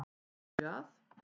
Af því að?